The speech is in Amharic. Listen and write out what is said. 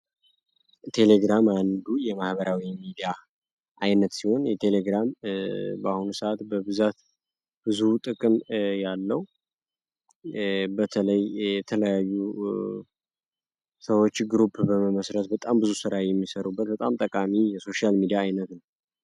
ቴሌግራም አንዱ የማህበራዊ ሚዲያ አይነት ሲሆን የቴሌግራም በአሁን ሰዓት በብዛት ብዙ ጥቅም ያለው በለይየተለያዩ ሰዎች ግሩፕ በመመስረስ በጣም ብዙ ሥራይ የሚሠሩበት በጣም ጠቃሚ የሶሻያል ሚዲያ አይነት ነው።